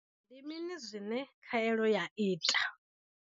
Ndi mini zwine khaelo ya ita?